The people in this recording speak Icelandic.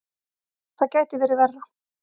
Það gæti verið verra.